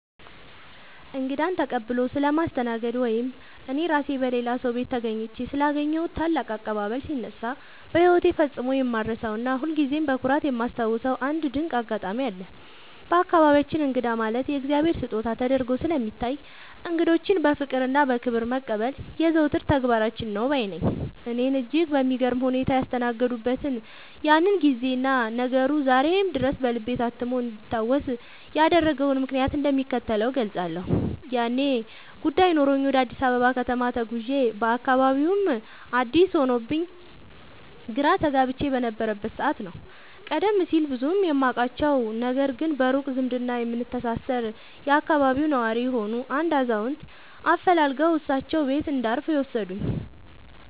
እንግዳን ተቀብሎ ስለማስተናገድ ወይም እኔ ራሴ በሌላ ሰው ቤት ተገኝቼ ስላገኘሁት ታላቅ አቀባበል ሲነሳ፣ በሕይወቴ ፈጽሞ የማልረሳውና ሁልጊዜም በኩራት የማስታውሰው አንድ ድንቅ አጋጣሚ አለ። በአካባቢያችን እንግዳ ማለት የእግዚአብሔር ስጦታ ተደርጎ ስለሚታይ፣ እንግዶችን በፍቅርና በክብር መቀበል የዘወትር ተግባራችን ነው ባይ ነኝ። እኔን እጅግ በሚገርም ሁኔታ ያስተናገዱበትን ያንን ጊዜና ነገሩ ዛሬም ድረስ በልቤ ታትሞ እንዲታወስ ያደረገውን ምክንያት እንደሚከተለው እገልጻለሁ፦ ያኔ ጉዳይ ኖሮኝ ወደ አዲስ አበባ ከተማ ተጉዤ፣ አካባቢውም አዲስ ሆኖብኝ ግራ ተጋብቼ በነበረበት ሰዓት ነው፤ ቀደም ሲል ብዙም የማውቃቸው፣ ነገር ግን በሩቅ ዝምድና የምንተሳሰር የአካባቢው ነዋሪ የሆኑ አንድ አዛውንት አፈላልገው እሳቸው ቤት እንዳርፍ የወሰዱኝ።